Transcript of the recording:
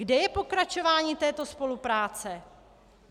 Kde je pokračování této spolupráce?